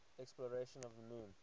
exploration of the moon